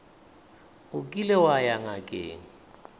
o kile wa ya ngakeng